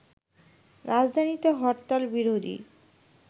রাজধানীতে হরতাল বিরোধী